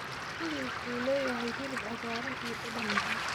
Kiwi wuxuu leeyahay hilib cagaaran iyo dhadhan macaan.